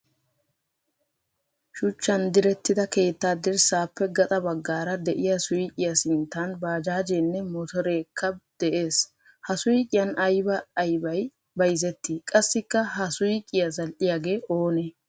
Shuchchan direttida keettaa dirssaappe gaxa baggaara de'iyaa suyqiya sinttan bajaajjeenne motoreekka de'ees. Ha suyqiyan aybay aybay bayzettii qassikka ha suyqiya zal"iyaagee oonee?